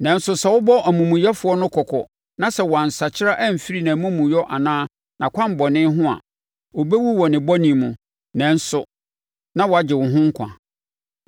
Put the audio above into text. Nanso sɛ wobɔ omumuyɛfoɔ no kɔkɔ na sɛ wansakyera amfiri nʼamumuyɛ anaa nʼakwammɔne ho a, ɔbɛwu wɔ ne bɔne mu, nanso na woagye wo ho nkwa.